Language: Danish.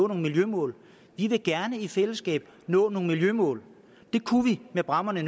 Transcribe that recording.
nogle miljømål vi vil gerne i fællesskab nå nogle miljømål det kunne vi med bræmmerne